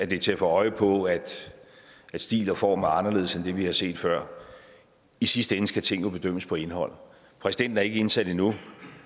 det er til at få øje på at stil og form er anderledes end det vi har set før i sidste ende skal tingene jo bedømmes på indhold præsidenten er ikke indsat endnu